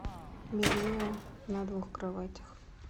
белье на двух кроватях